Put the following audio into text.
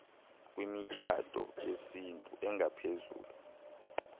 kwimitshato yesintu engaphezulu